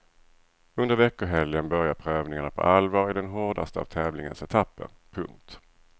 Under veckohelgen börjar prövningarna på allvar i den hårdaste av tävlingens etapper. punkt